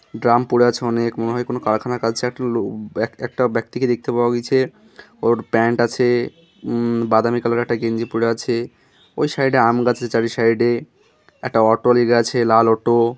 Drum পড়ে আছে অনেক মনে হয় কোন কারখানার একটা ব্যক্তিকে দেখতে পাওয়া গিছে ওর প্যান্ট আছে উম বাদামী কালার -এর একটা গেঞ্জি পড়ে আছে ওই সাইড -এ আম গাছের চারি আর এ সাইড -এ একটা অটো লেগে আছে লাল অটো ।